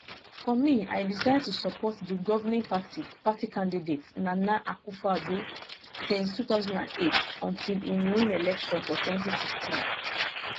for me i decide to support di govning party party candidate nana akufoaddo since 2008 until im win election for 2016